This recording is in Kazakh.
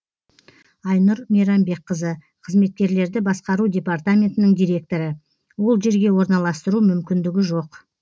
айнұр мейрамбекқызы қызметкерлерді басқару департаментінің директоры ол жерге орналастыру мүмкіндігі жоқ